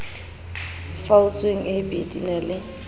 faotsweng ab di na le